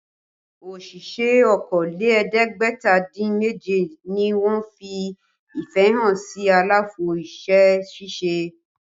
Òṣìṣẹ́ okòó lé ẹ̀ẹ́dẹ́gbẹ̀ta dín méje ni wọ́n fi ìfẹ́ hàn sí àlàfo iṣẹ́ ṣíṣe